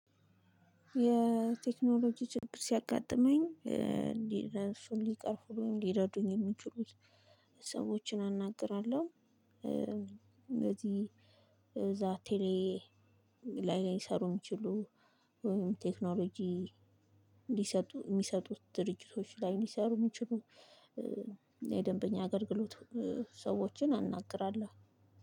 የቴክኖሎጂ ችግር ሲያጋጥመኝ ሊረዱኝ የሚችሉት ሰዎችን አናግራለሁ። እነዚህ እዛ ቴሌ ላይ ሊሰሩ የሚችሉ ቴክኖሎጂ ሊሰጡ የሚሰጡት ድርጅቶች ላይ ሊሰሩ የሚችሉ የደንበኛ አገልግሎት ሰዎችን አናግራለሁ።